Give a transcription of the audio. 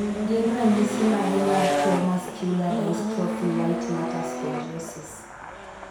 Gin ranyisi mage mar tuo Muscular dystrophy white matter spongiosis?